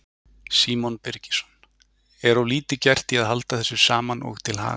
Símon Birgisson: Er of lítið gert í að halda þessu saman og til haga?